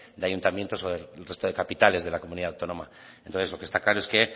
de ayuntamientos del resto de capitales de la comunidad autónoma entonces lo que está claro es que